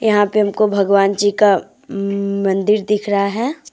यहां पे हमको भगवान जी का अम् मंदिर दिख रहा है।